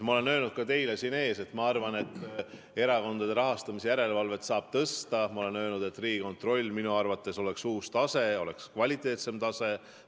Ma olen öelnud ka teile siin ees, et ma arvan, et erakondade rahastamise järelevalve saab tõsta, ma olen öelnud, et Riigikontroll oleks minu arvates uus tase ja kvaliteetsem tase.